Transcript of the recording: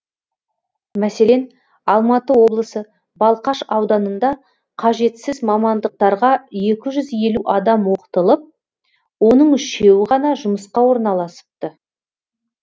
мәселен алматы облысы балқаш ауданында қажетсіз мамандықтарға екі жүз елу адам оқытылып оның үшеуі ғана жұмысқа орналасыпты